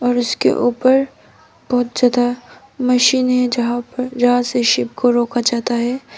और उसके ऊपर बहुत ज्यादा मशीन है जहां पर जहां से शिप को रोका जाता है।